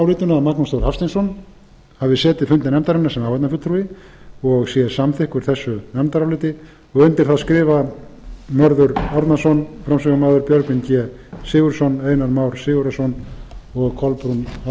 magnús þór hafsteinsson hafi setið fundi nefndarinnar sem áheyrnarfulltrúi og sé samþykkur þessu nefndaráliti undir það skrifa mörður árnason áfram björgvin g sigurðsson einar már sigurðarson og kolbrún